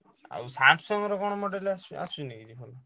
ଆଉ Samsung ର କଣ model ଆସୁ~ ଆସୁନି କି ଭଲ?